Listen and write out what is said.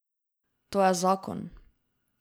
To je zakon.